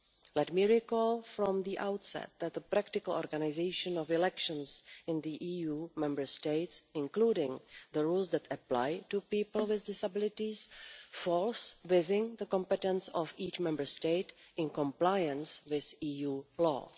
Let me recall from the outset that the practical organisation of elections in the EU Member States, including the rules that apply to people with disabilities, falls within the competence of each Member State in compliance with EU law.